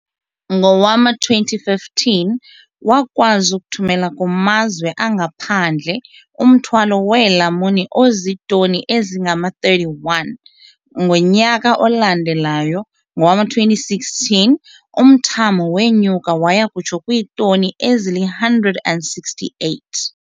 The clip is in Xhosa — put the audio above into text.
Ngowama-2015, wakwazi ukuthumela kumazwe angaphandle umthwalo weelamuni ozitoni ezingama-31. Ngonyaka olandelayo, ngowama-2016, umthamo wenyuka waya kutsho kwiitoni ezili-168.